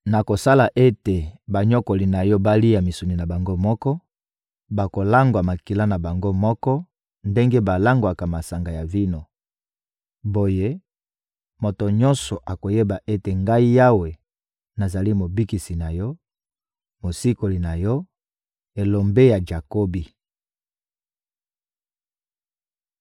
Nakosala ete banyokoli na yo balia misuni na bango moko; bakolangwa makila na bango moko ndenge balangwaka masanga ya vino. Boye, moto nyonso akoyeba ete Ngai Yawe, nazali Mobikisi na yo, Mosikoli na yo, Elombe ya Jakobi.»